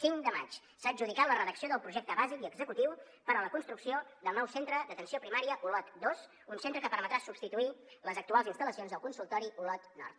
cinc de maig s’ha adjudicat la redacció del projecte bàsic i executiu per a la construcció del nou centre d’atenció primària olot dos un centre que permetrà substituir les actuals instal·lacions del consultori olot nord